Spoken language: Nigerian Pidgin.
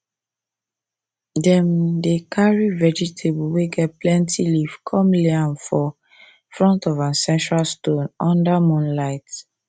dem dey carry vegetable way get plenty leave come lay am for front of ancestral stone under moonlight